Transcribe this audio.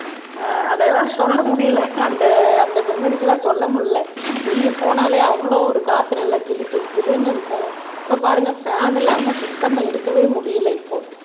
அதெல்லாம் சொல்ல முடியலை அந்த அந்த மெமோரிஸ் எல்லாம் சொல்ல முடியலை வெளிய போனாலே அவ்வளவு ஒரு காத்து நல்லா ஜிலு ஜில்லு ஜிலுன்னு இருக்கும் இப்ப பாருங்க ஃபேன் இல்லாம சுத்தமா இருக்கவே முடியலை இப்போ